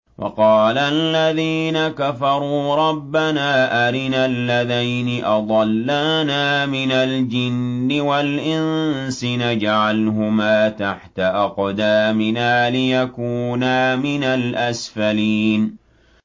وَقَالَ الَّذِينَ كَفَرُوا رَبَّنَا أَرِنَا اللَّذَيْنِ أَضَلَّانَا مِنَ الْجِنِّ وَالْإِنسِ نَجْعَلْهُمَا تَحْتَ أَقْدَامِنَا لِيَكُونَا مِنَ الْأَسْفَلِينَ